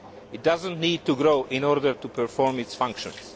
It does not need to grow in order to perform its functions.